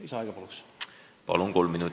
Lisaaega palun!